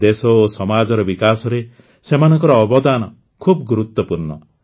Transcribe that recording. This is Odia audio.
ଦେଶ ଓ ସମାଜର ବିକାଶରେ ସେମାନଙ୍କ ଅବଦାନ ଖୁବ ଗୁରୁତ୍ୱପୂର୍ଣ୍ଣ